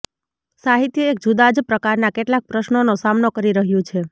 સાહિત્ય એક જુદા જ પ્રકારના કેટલાક પ્રશ્નોનો સામનો કરી રહ્યું છે